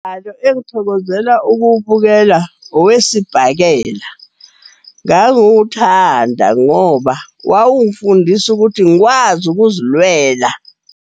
Engithokozela ukuwubukela owesibhakela. Ngangiwuthanda ngoba wawungifundisa ukuthi ngikwazi ukuzilwela.